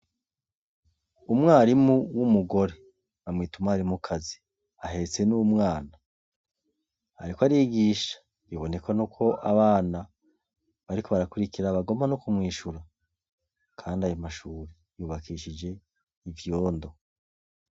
Umwarimu w'umugore, bamwita umwarimukazi ahetse n'umwana ariko arigisha bibonekanako abana bariko barakurikira bagomba nokumwishura, kandi ayomashure yubakishije ivyondo.